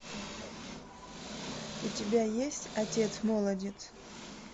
у тебя есть отец молодец